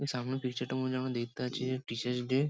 ''সামনে পিকচার -টার মধ্যে যেন দেখতে পাচ্ছি যে টিচার্স ডে ।''